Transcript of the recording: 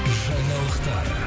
жаңалықтар